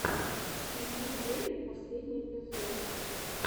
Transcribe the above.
ньюк рэббит последний эпизод